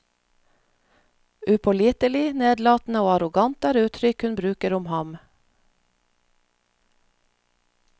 Upålitelig, nedlatende og arrogant er uttrykk hun bruker om ham.